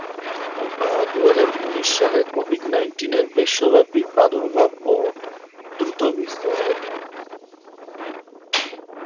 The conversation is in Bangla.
দুহাজার উনিশ সালে Covid Nineteen এর বিশ্বব্যাপী প্রাদুর্ভাব ও দ্রুতবিস্তারে